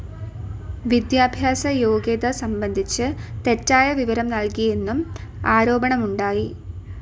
വിദ്യാഭ്യാസയോഗ്യത സംബന്ധിച്ച് തെറ്റായ വിവരം നൽകിയെന്നും ആരോപണമുണ്ടായി.